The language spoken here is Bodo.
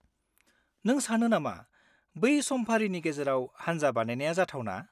नों सानो नामा बै समफारिनि गेजेराव हान्जा बानायनाया जाथावना?